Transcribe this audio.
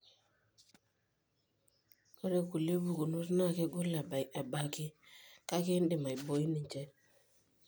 Ore kulie pukunot na kegol ebaiki, kake indim aiboi ninche.